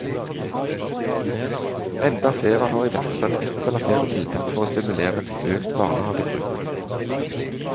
Enda flere har iverksatt ett eller flere tiltak for å stimulere til økt barnehagebruk.